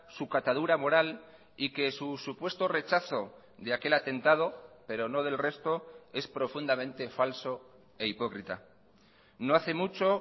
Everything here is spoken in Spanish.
su catadura moral y que su supuesto rechazo de aquel atentado pero no del resto es profundamente falso e hipócrita no hace mucho